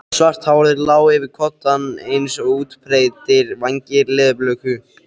Svart hárið lá yfir koddann eins og útbreiddir vængir leðurblöku.